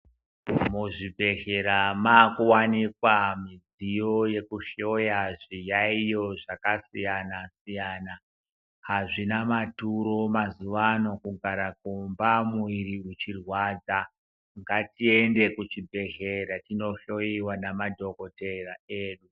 Mu zvibhedhlera maku wanikwa midziyo yeku hloya zviyayiyo zvaka siyana siyana azvina maturo mazuva ano kugara kumba muviri uchi rwadza ngati ende ku chibhedhlera tino hloyiwa na madhokotera edu.